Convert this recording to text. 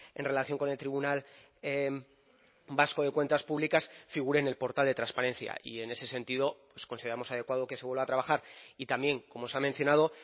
en relación con el tribunal vasco de cuentas públicas figure en el portal de transparencia y en ese sentido pues consideramos adecuado que se vuelva a trabajar y también como se ha mencionado